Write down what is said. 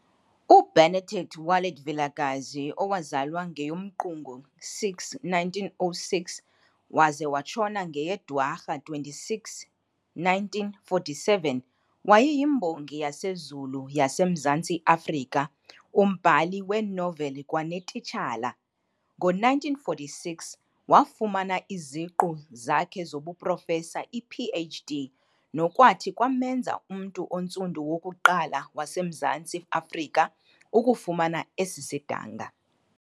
UBenedict Wallet Vilakazi owazalwa ngeyoMqungu 6, 1906 waze watshona ngeyeDwarha 26, 1947, wayeyimbongi yaseZulu yaseMzantsi Afrika, umbhali weenoveli kwanetitshala. Ngo-1946 wafumana iziqu zakhe zobuProfesa, iPh.D, nokwathi kwamenza umntu ontsundu wokuqala waseMzantsi Afrika ukufumana esi sidanga.